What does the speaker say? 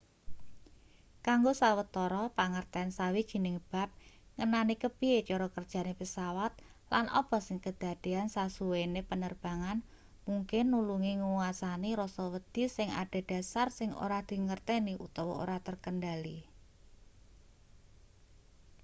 kanggo sawetara pangerten sawijining bab ngenani kepiye cara kerjane pesawat lan apa sing kedadean sasuwene penerbangan mungkin nulungi nguasani rasa wedi sing adhedhasar sing ora dingerteni utawa ora terkendhali